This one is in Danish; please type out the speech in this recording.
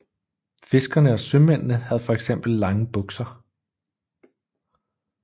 Fiskerne og sømændene havde for eksempel lange bukser